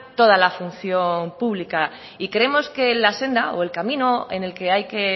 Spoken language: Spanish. toda la función pública y creemos que la senda o el camino en el que hay que